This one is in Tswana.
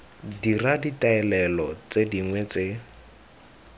dira ditaolelo tse dingwe tse